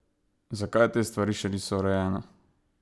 Zakaj te stvari še niso urejene?